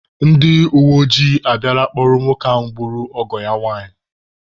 Ndi uweojii abịala kpụrụ nwoke gburu ọgọ ya nwanyị.